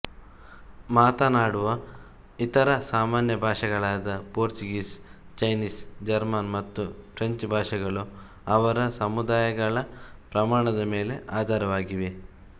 ಮಾತನಾಡುವ ಇತರ ಸಾಮಾನ್ಯ ಭಾಷೆಗಳಾದ ಪೋರ್ಚುಗೀಸ್ ಚೈನೀಸ್ ಜರ್ಮನ್ ಮತ್ತು ಫ್ರೆಂಚ್ ಭಾಷೆಗಳು ಅವರ ಸಮುದಾಯಗಳ ಪ್ರಮಾಣದ ಮೇಲೆ ಆಧಾರವಾಗಿವೆ